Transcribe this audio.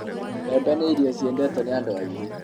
mbembe ni irio ciedetwo ni andũ aingĩ